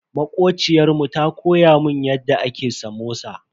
Makociyar mu ta koya mun yadda ake samosa.